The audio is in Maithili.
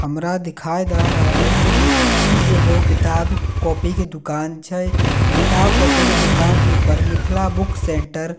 हमरा दिखाई दए रहलए कि ई एगो किताब कॉपी के दुकान छै किताब कॉपी के दुकान के ऊपर मिथला बुक सेंटर लि--